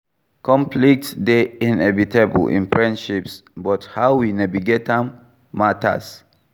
Conflict dey inevitable in friendships, but how we navigate am matters.